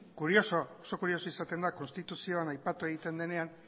kuriosoa oso kuriosoa izaten da konstituzioan aipatu egiten denean